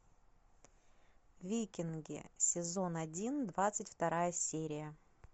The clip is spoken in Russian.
викинги сезон один двадцать вторая серия